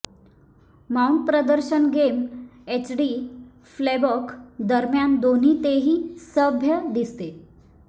Mount प्रदर्शन game HD playback दरम्यान दोन्ही तेही सभ्य दिसते